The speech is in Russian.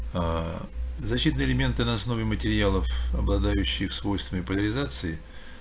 а защитные элементы на основе материалов обладающих свойствами поляризации